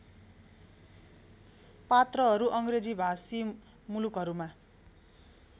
पात्रहरू अङ्ग्रेजीभाषी मूलुकहरूमा